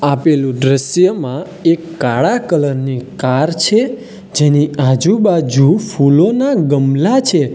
આપેલું દ્રશ્યમાં એક કાળા કલર ની કાર છે જેની આજુબાજુ ફૂલોના ગમલા છે.